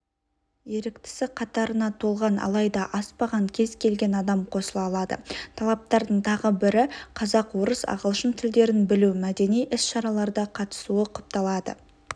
еріктісі қатарына толған алайда аспаған кез-келген адам қосыла алады талаптардың тағы бірі қазақ орыс ағылшын тілдерін білу мәдени іс-шараларда қатысуы құпталады